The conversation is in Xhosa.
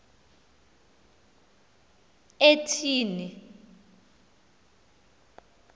etyhini